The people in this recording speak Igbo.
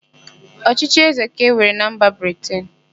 Ọchịchị ézē ka e nwere na mba Briten.